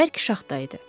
Bərk şaxta idi.